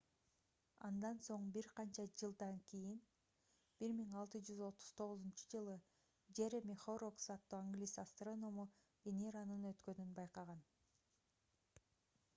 андан соң бир канча жылдан кийин 1639-жылы джереми хоррокс аттуу англис астроному венеранын өткөнүн байкаган